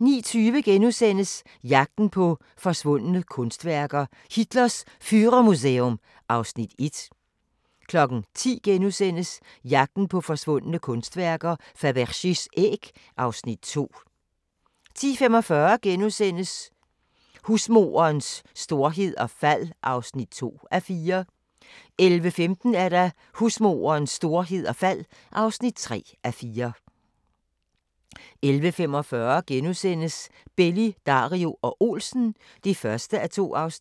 09:20: Jagten på forsvundne kunstværker: Hitlers Führermuseum (Afs. 1)* 10:00: Jagten på forsvundne kunstværker: Fabergés æg (Afs. 2)* 10:45: Husmorens storhed og fald (2:4)* 11:15: Husmorens storhed og fald (3:4) 11:45: Belli, Dario og Olsen (1:2)*